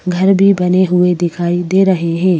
घर भी बने हुए दिखाई दे रहे हैं।